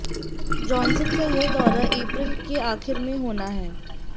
Johnson का यह दौरा अप्रैल के आखिर में होना है